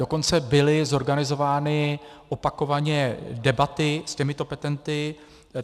Dokonce byly zorganizovány opakovaně debaty s těmito petenty.